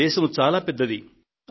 మన దేశం చాలా పెద్దది